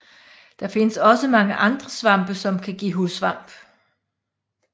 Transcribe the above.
Der findes også mange andre svampe som kan give hudsvamp